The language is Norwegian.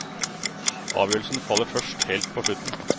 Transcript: Avgjørelsen faller først helt på slutten.